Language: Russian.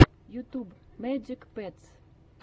ютуб мэджик петс